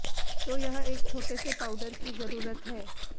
तो यह एक छोटे से पाउडर की जरूरत है